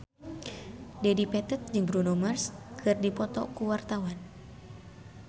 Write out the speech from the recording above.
Dedi Petet jeung Bruno Mars keur dipoto ku wartawan